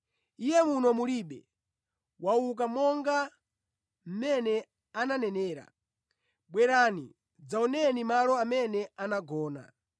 Iye muno mulibe, wauka monga mmene ananenera. Bwerani, dzaoneni malo amene anagona.